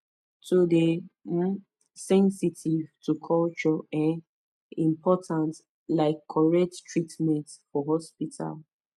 to dey um sensitive to culture um important like correct treatment for hospital